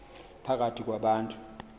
phakathi kwa bantu